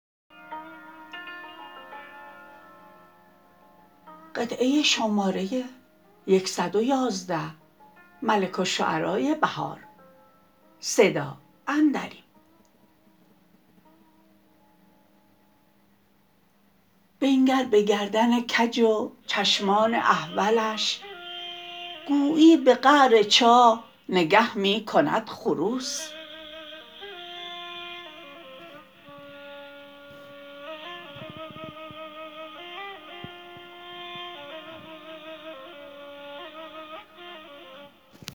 بنگر به گردن کج و چشمان احولش گویی به قعر چاه نگه می کند خروس